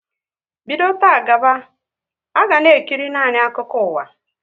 Bido taa gaba, e ga na ekiri nanị akụkọ ụwa!